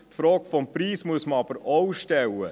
– Die Frage des Preises muss man aber auch stellen.